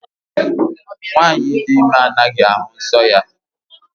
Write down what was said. Nwanyị dị ime anaghị ahụ nsọ ya